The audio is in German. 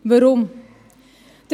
Weshalb dies?